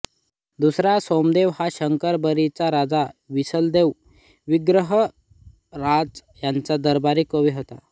दुसरा सोमदेव हा शाकंभरीचा राजा वीसलदेव विग्रहराज याचा दरबारी कवी होता